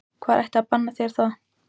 Hver ætti að banna þér það?